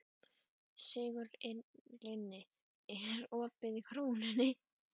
Sigurlinni, er opið í Krónunni?